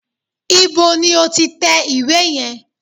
Ibo ni o ti tẹ ìwé yẹn?